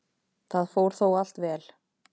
Það fór þó allt vel.